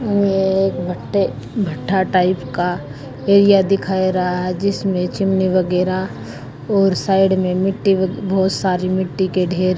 एक भट्टे भट्ठा टाइप का एरिया दिख रहा है जिसमें चिमनी वगैरह और साइड में मिट्टी बहुत सारी मिट्टी के ढेर--